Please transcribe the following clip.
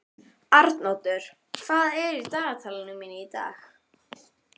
Arnoddur, hvað er í dagatalinu mínu í dag?